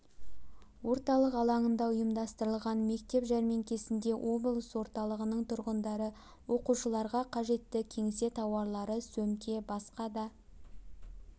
орталық алаңында ұйымдастырылған мектеп жәрмеңкесінде облыс орталығының тұрғындары оқушыларға қажетті кеңсе тауарлары сөмке басқа да